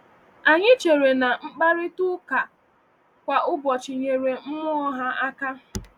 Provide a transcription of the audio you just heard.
Anyị chere na mkparịta ụka a kwa ụbọchị nyere mmụọ ha aka.